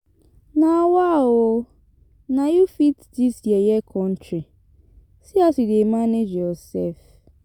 Nawa ooo, na you fit dis yeye country, see as you dey manage yourself.